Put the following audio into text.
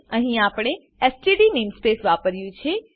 અહીં આપણે STD namespace વાપર્યું છે